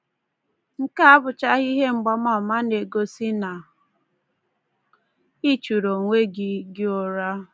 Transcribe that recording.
Nke a abụchaghị ihe mgbaama na-egosi na i churu onwe gị gị ụra.